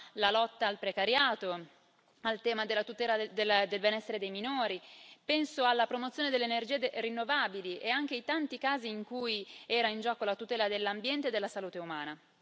alla lotta al precariato, al tema della tutela del benessere dei minori, penso alla promozione delle energie rinnovabili e anche ai tanti casi in cui era in gioco la tutela dell'ambiente e della salute umana.